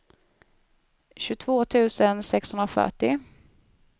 tjugotvå tusen sexhundrafyrtio